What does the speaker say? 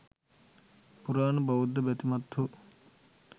පුරාණ බෞද්ධ බැතිමත්හු